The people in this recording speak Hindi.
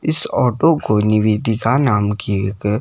इस ऑटो को निवेदिका नाम की एक --